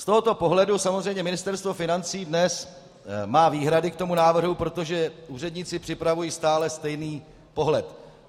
Z tohoto pohledu samozřejmě Ministerstvo financí dnes má výhrady k tomu návrhu, protože úředníci připravují stále stejný pohled.